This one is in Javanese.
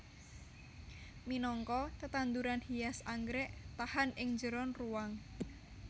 Minangka tetanduran hias anggrèk tahan ing njeron ruwang